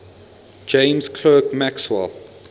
james clerk maxwell